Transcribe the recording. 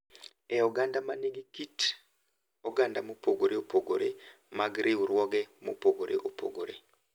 e oganda ma nigi kit oganda mopogore opogore mag riwruoge mopogore opogore ,